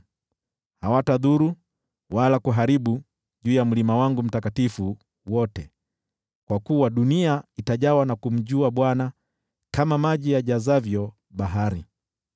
Hawatadhuru wala kuharibu juu ya mlima wangu mtakatifu wote, kwa kuwa dunia itajawa na kumjua Bwana kama maji yajazavyo bahari.